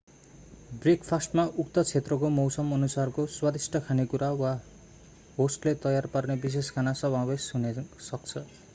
ब्रेकफास्टमा उक्त क्षेत्रको मौसमअनुसारको स्वादिष्ट खानेकुरा वा होस्टले तयार पार्ने विशेष खाना समावेश हुन सक्छ